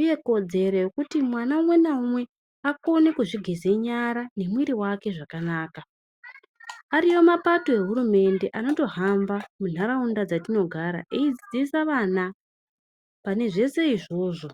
uye kodzero yekuti mwana umwe naumwe akone kuzvigeze nyara nemuiri wakezvakanaka ariyo mapato nehurumende anoto hamba mundaraunda dzatinogara eidzidzisa vana panezvese izvozvo